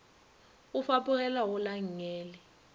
o fapogela go la nngele